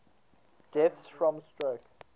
deaths from stroke